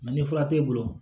ni fura t'e bolo